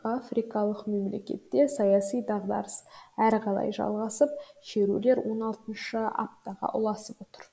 африкалық мемлекетте саяси дағдарыс әрі қарай жалғасып шерулер он алтыншы аптаға ұласып отыр